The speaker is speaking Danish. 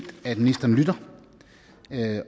at ministeren lytter